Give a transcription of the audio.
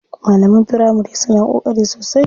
Malaman firamari suna ƙoƙari sosai.